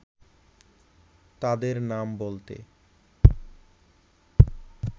তাদের নাম বলতে